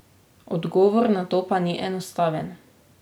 Odgovor na to pa ni enostaven.